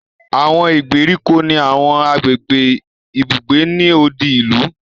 Àwọn ìgbèríko ni àwọn agbègbè ibùgbé ni odi ìlú